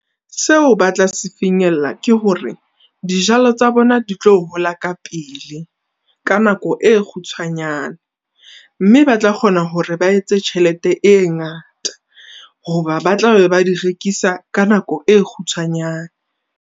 Seo ba tla se finyella ke hore dijalo tsa bona di tlo hola ka pele, ka nako e kgutshwanyane. Mme batla kgona hore ba etse tjhelete e ngata hoba ba tla be ba di rekisa ka nako e kgutshwanyane.